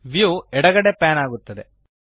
view ಎಡಗಡೆಗೆ pan ಆಗುತ್ತದೆ